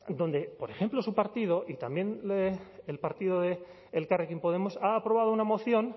donde por ejemplo su partido y también el partido de elkarrekin podemos ha aprobado una moción